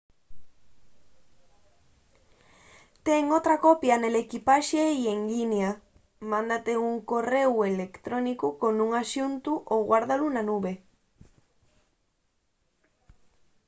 ten otra copia nel equipaxe y en llinia mándate un corréu electrónicu con un axuntu o guárdalu na nube”